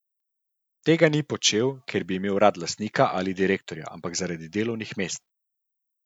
Tega ni počel, ker bi imel rad lastnika ali direktorja, ampak zaradi delovnih mest.